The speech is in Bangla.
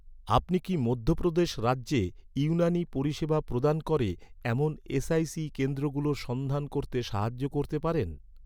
আপনি কি মধ্যপ্রদেশ রাজ্যে ইউনানী পরিষেবা প্রদান করে, এমন এস.আই.সি কেন্দ্রগুলোর সন্ধান করতে সাহায্য করতে পারেন?